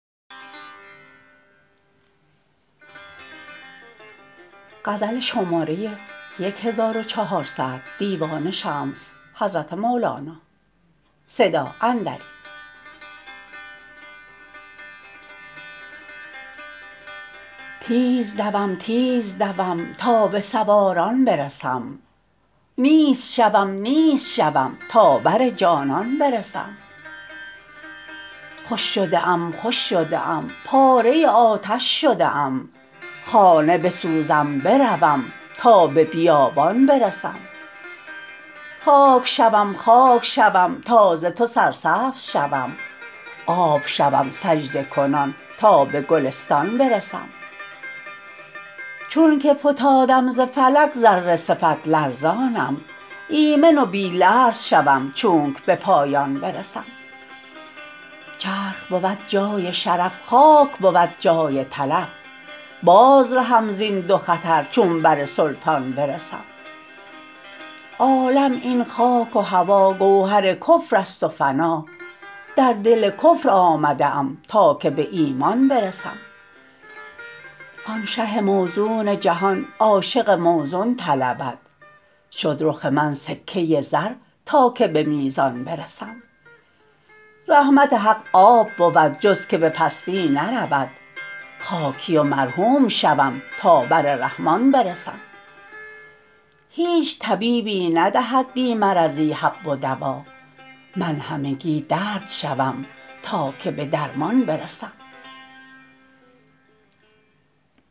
تیز دوم تیز دوم تا به سواران برسم نیست شوم نیست شوم تا بر جانان برسم خوش شده ام خوش شده ام پاره آتش شده ام خانه بسوزم بروم تا به بیابان برسم خاک شوم خاک شوم تا ز تو سرسبز شوم آب شوم سجده کنان تا به گلستان برسم چونک فتادم ز فلک ذره صفت لرزانم ایمن و بی لرز شوم چونک به پایان برسم چرخ بود جای شرف خاک بود جای تلف باز رهم زین دو خطر چون بر سلطان برسم عالم این خاک و هوا گوهر کفر است و فنا در دل کفر آمده ام تا که به ایمان برسم آن شه موزون جهان عاشق موزون طلبد شد رخ من سکه زر تا که به میزان برسم رحمت حق آب بود جز که به پستی نرود خاکی و مرحوم شوم تا بر رحمان برسم هیچ طبیبی ندهد بی مرضی حب و دوا من همگی درد شوم تا که به درمان برسم